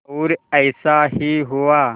और ऐसा ही हुआ